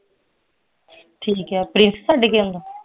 ਠੀਕ ਏ ਪ੍ਰਿੰਸ ਛੱਡ ਕੇ ਆਉਂਦਾ